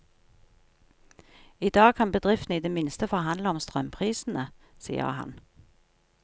I dag kan bedriften i det minste forhandle om strømprisene, sier han.